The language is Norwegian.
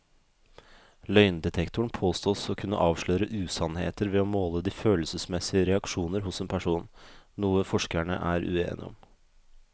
Løgndetektoren påstås å kunne avsløre usannheter ved å måle de følelsesmessige reaksjoner hos en person, noe forskerne er uenige om.